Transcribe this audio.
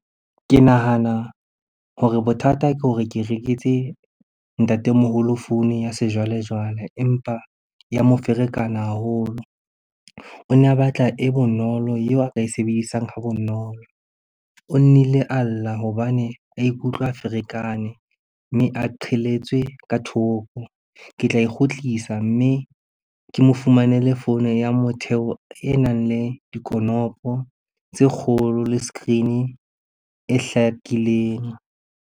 Ke nahana hore bothata ke hore ke rekise ntatemoholo founu ya sejwalejwale, empa ya mo ferekana haholo. O ne a batla e bonolo eo a ka e sebedisang ha bonolo. O nnile a lla hobane a ikutlwa a ferekane mme a qhelletswe ka thoko. Ke tla e ikgutlisa, mme ke mo fumanele founu ya motheo e nang le dikonopo tse kgolo le screen-e e hlakileng.